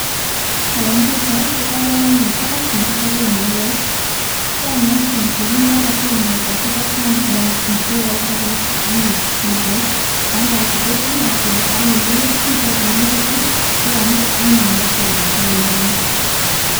Eng pichait kokeipor anyun kot nekichope mauwek, chang anyuun, kakinde age tugul mesosiek kochang biik che chopei anyun mauwek. Mauwechu ketilatil akinde bokisit pokokararnitu sikomuch anyun ipakealda anyun eng indonyo.